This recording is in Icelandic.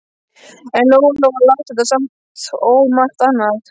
En Lóa Lóa las þetta samt og margt annað.